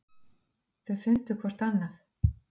Þau fundu hvort annað.